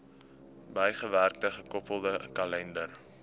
bygewerkte gekoppelde kalender